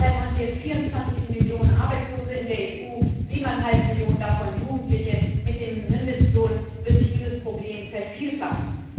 Derzeit haben wir 24 Millionen Arbeitslose in der EU, siebeneinhalb Millionen davon Jugendliche. Mit dem Mindestlohn wird sich dieses Problem vervielfachen.